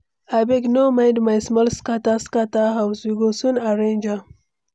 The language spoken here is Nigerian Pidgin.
Abeg, no mind my small scatter scatter house, we go soon arrange am.